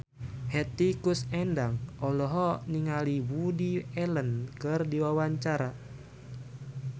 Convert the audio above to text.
Hetty Koes Endang olohok ningali Woody Allen keur diwawancara